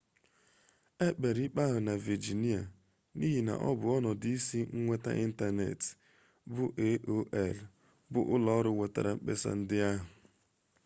ekpere ikpe ahụ na vejinia n'ihi n'ọbụ ọnọdụ isi nweta ịntanetị bụ aol bụ ụlọọrụ wetara mkpesa ndị ahụ